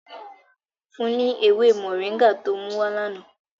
Fun un ni ewe mọringá ti o muwa lana!